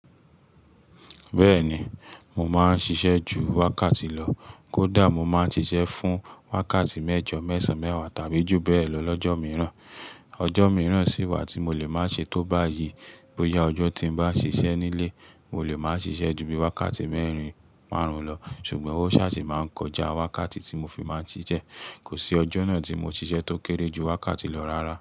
Bẹ́ẹ̀ni, mo máa ń ṣiṣẹ́ ju wákàtí lọ. Kódà mo máa ń ṣiṣẹ́ fún wákàtí mẹ́jọ, mẹ́sàn-án mẹ́wàá tàbí jù bẹ́ẹ̀ lọ lọ́jọ́ mìíràn. Ọjọ́ mìíràn sì wà tí mo lè máa ṣe tó báyìí. Bóyá ọjọ́ tí mo bá ṣiṣẹ́ nílé, mo lè máa ṣiṣẹ́ ju bí wákàtí mẹ́rin márùn-ún lọ. Ṣùgbọ́n o ṣáàjì máa ń kọjá wákàtí tí mo fi máa ń ṣiṣẹ́. Kò sí ọjọ́ náà tí mo ṣiṣẹ́ tó kéré ju wákàtí lọ rárá.